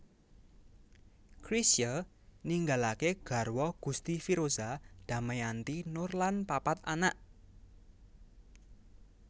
Chrisye ninggalaké garwa Gusti Firoza Damayanti Noor lan papat anak